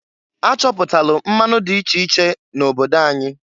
A chọpụtalụ mmanụ di iche iche n' obodo anyị.